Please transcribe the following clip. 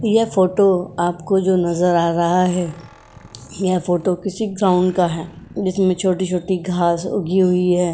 यह फोटो जो आपको नजर आ रहा है। यह फोटो किसी ग्राउंड का है जिसमें छोटी-छोटी घास उगी हुई है।